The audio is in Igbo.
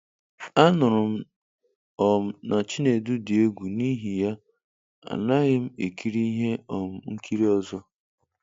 "Anụrụ m um na Chinedu dị egwu n'ihi ya, anaghị m ekiri ihe um nkiri ọzọ."